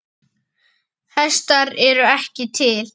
Hestar eru ekki til.